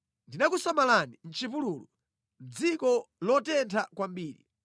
Ndinakusamalira mʼchipululu, mʼdziko lotentha kwambiri.